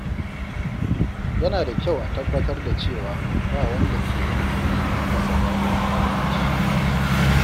Yana da kyau a tabbatar da cewa ba wanda ke yin aiki ƙasa da wanda aka ba shi